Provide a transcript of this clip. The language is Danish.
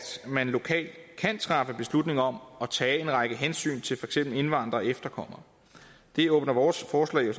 man lokalt kan træffe beslutning om at tage en række hensyn til for eksempel indvandrere og efterkommere det åbner vores forslag jo